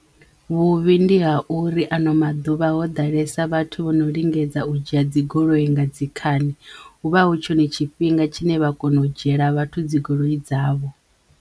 Vhuvhi ndi ha uri ano maḓuvha ho ḓalesa vhathu vho no lingedza u dzhia dzi goloi nga dzikhani huvha hu tshone tshifhinga tshine vha kono u dzhiela vhathu dzigoloi dzavho.